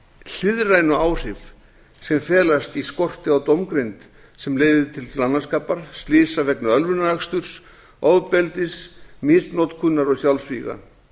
hliðrænu áhrif sem felast í skorti á dómgreind sem leiðir til glannaskapar slysa vegna ölvunaraksturs ofbeldis misnotkunar og sjálfsvíga